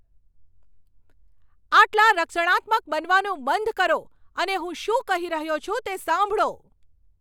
આટલા રક્ષણાત્મક બનવાનું બંધ કરો અને હું શું કહી રહ્યો છું, તે સાંભળો.